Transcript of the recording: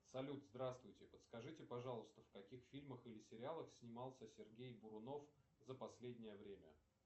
салют здравствуйте подскажите пожалуйста в каких фильмах или сериалах снимался сергей бурунов за последнее время